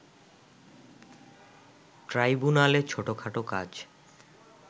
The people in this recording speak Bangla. ট্রাইব্যুনালে ছোটখাটো কাজ